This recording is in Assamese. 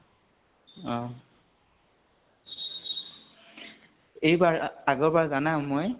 অহ । এইবাৰ আ আগৰ বাৰ জানা মই